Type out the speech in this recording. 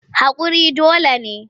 Haƙuri dole ne.